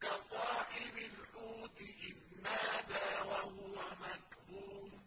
كَصَاحِبِ الْحُوتِ إِذْ نَادَىٰ وَهُوَ مَكْظُومٌ